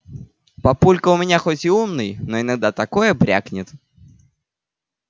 папулька у меня хоть и умный но иногда такое брякнет